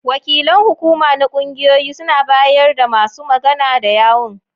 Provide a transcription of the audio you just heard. Wakilan hukuma na ƙungiyoyi suna bayar da masu magana da yawun.